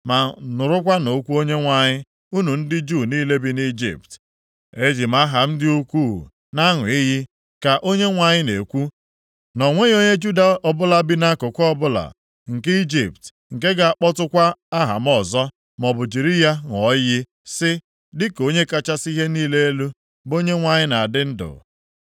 Ma nụrụkwanụ okwu Onyenwe anyị, unu ndị Juu niile bi nʼIjipt, ‘Eji m aha m dị ukwuu na-aṅụ iyi,’ ka Onyenwe anyị na-ekwu, ‘na o nweghị onye Juda ọbụla bi nʼakụkụ ọbụla nke Ijipt, nke ga-akpọkukwa aha m ọzọ, maọbụ jiri ya ṅụọ iyi sị, “Dịka Onye kachasị ihe niile elu, bụ Onyenwe anyị na-adị ndụ.”